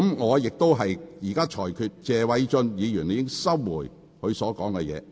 我現在裁決謝偉俊議員須收回那個用詞。